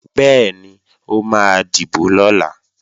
Bẹ́ẹ̀ni, ó máa dìbò lọ̀la